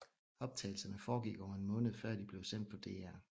Optagelserne foregik over en måned før de blev sendt på DR